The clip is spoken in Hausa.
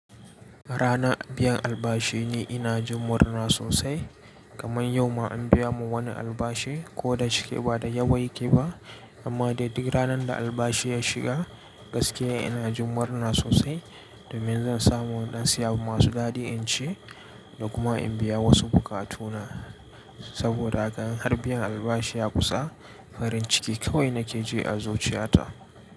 Ranar biyan albashi ni ina jimurna sosai, kamar yau ma an biya mu wani albashi ko da cike ba da yawa yake ba, amma dai duk ranar da albashi ya shiga gaskiya ina jin murna sosai domin zan samu in dan siya abu masu dadi in ci da kuma in biya wasu bukatuna. Saboda haka in har biyan albashi ya kusa farin ciki kawai nake ji a zuciyata.